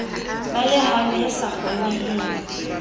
ba lehano e sa kgoneheng